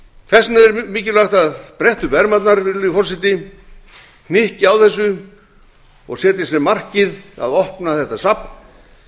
þess vegna er mjög mikilvægt að bretta um ermarnar virðulegi forseti hnykkja á þessu og setja sér markið að opna þetta safn